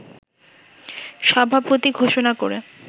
সভাপতি ঘোষণা করে